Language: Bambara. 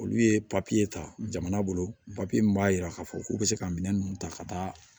Olu ye ta jamana bolo mun b'a yira k'a fɔ k'u be se ka minɛn nunnu ta ka taa